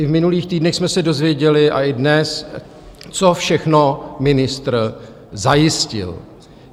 I v minulých týdnech jsme se dozvěděli, a i dnes, co všechno ministr zajistil.